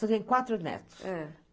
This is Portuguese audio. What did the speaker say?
Tem quatro netos.